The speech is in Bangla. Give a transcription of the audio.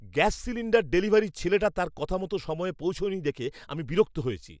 গ্যাস সিলিণ্ডার ডেলিভারির ছেলেটা তার কথামতো সময়ে পৌঁছয়নি দেখে আমি বিরক্ত হয়েছি।